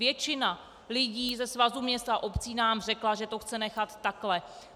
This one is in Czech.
Většina lidí ze Svazu měst a obcí nám řekla, že to chce nechat takhle.